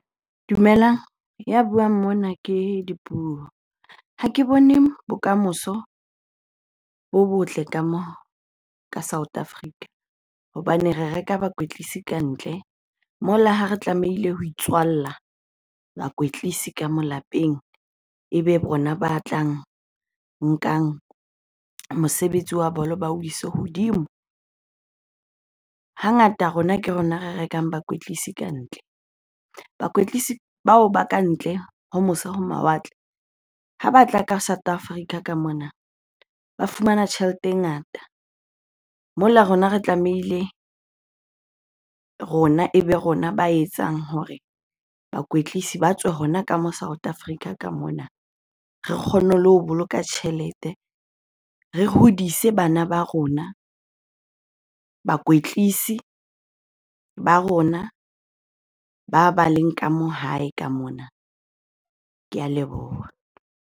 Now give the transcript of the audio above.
Dumelang, ya buang mona ke Dipuo. Ha ke bone bokamoso bo botle ka mo ka South Africa. Hobane re reka bakwetlisi kantle, mola ha re tlamehile ho itswalla bakwetlisi ka moo lapeng ebe bona ba tla nkang mosebetsi wa bolo ba o ise hodimo. Hangata rona ke rona re rekang bakwetlisi kantle. Bakwetlisi bao ba kantle ho mose ho mawatle, ha batla ka South Africa ka mona ba fumana tjhelete e ngata mola rona re tlamehile rona ebe rona ba etsang hore bakwetlisi ba tswe hona ka mo South Africa ka mona. Re kgone le ho boloka tjhelete, re hodise bana ba rona, bakwetlisi ba rona ba ba leng ka moo hae ka mona. Ke a leboha.